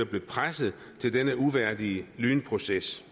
blev presset til denne uværdige lynproces